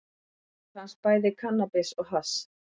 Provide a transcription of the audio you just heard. Þar fannst bæði kannabis og hass